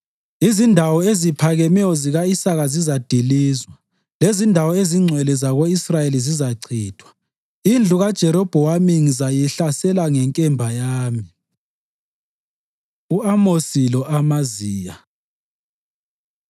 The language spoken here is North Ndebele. Izindawo eziphakemeyo zika-Isaka zizadilizwa lezindawo ezingcwele zako-Israyeli zizachithwa; indlu kaJerobhowamu ngizayihlasela ngenkemba yami.” U-Amosi Lo-Amaziya